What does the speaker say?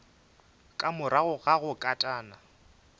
ka morago ga go katana